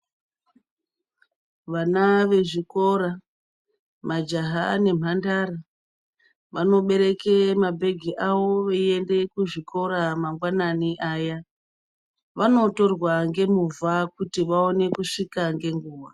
Vana vezvikora, majaha nemhandara, vanobereke mabhegi avo veiende kuzvikora mangwanani aya. Vanotorwa ngemovha kuti vaone kusvika ngenguwa.